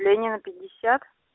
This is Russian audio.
ленина пятьдесят